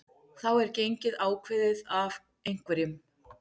þá er gengið ákveðið af einhverjum